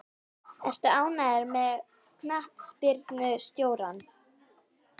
Ertu ánægður með knattspyrnustjórann?